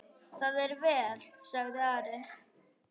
Það er vel, sagði Ari.